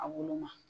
A woloma